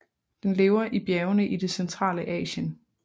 Den lever i bjergene i det centrale Asien